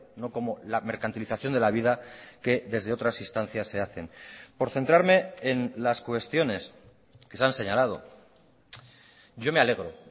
no como la mercantilización de la vida que desde otras instancias se hacen por centrarme en las cuestiones que se han señalado yo me alegro